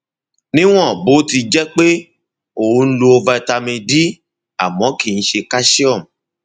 níwọn bó ti jẹ pé pé o ń lo vitamin d àmọ kìí ṣe calcium